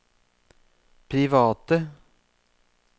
private